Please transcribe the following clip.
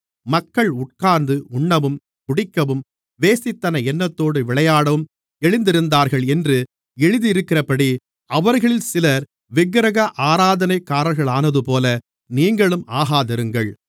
மக்கள் உட்கார்ந்து உண்ணவும் குடிக்கவும் வேசித்தன எண்ணத்தோடு விளையாடவும் எழுந்திருந்தார்கள் என்று எழுதியிருக்கிறபடி அவர்களில் சிலர் விக்கிரக ஆராதனைக்காரர்களானதுபோல நீங்களும் ஆகாதிருங்கள்